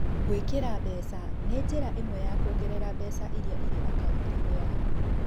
Gũĩkĩra mbeca nĩ njĩra ĩmwe ya kũongerera mbeca iria irĩ akaũnti-inĩ yaku.